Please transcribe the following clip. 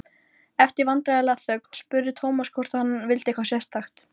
Eftir vandræðalega þögn spurði Thomas hvort hann vildi eitthvað sérstakt.